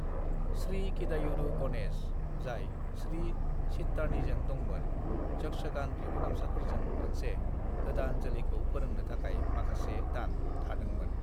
"श्री किदायुरु गणेश, जाय श्री चित्तानीजों दंमोन, यक्षगान रिंगुदामसाफोरजों मोनसे गोदान जोलैखौ फोरोंनो थाखाय माखासे दान थादोंमोन।"